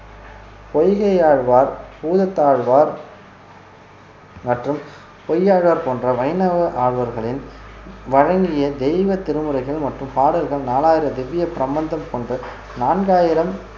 பொய்கையாழ்வார் பூதத்தாழ்வார் மற்றும் பொய்யாழ்வார் போன்ற வைணவ ஆழ்வார்களின் வழங்கிய தெய்வ திருமுறைகள் மற்றும் பாடல்கள் நாலாயிரம் திவ்ய பிரபந்தம் போன்ற நான்காயிரம்